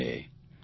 ભક્તિ છે